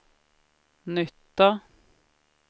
nytta